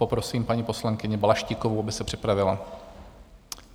Poprosím paní poslankyni Balaštíkovou, aby se připravila.